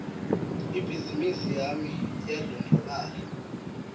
ibhizimisi yami iyandlondlobala